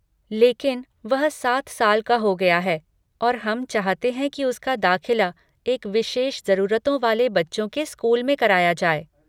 लेकिन, वह सात साल का हो गया है और हम चाहते हैं कि उसका दाखिला एक विशेष जरूरतों वाले बच्चों के स्कूल में कराया जाए।